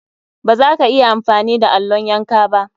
Baza ka iya amfani da allon yanka ba.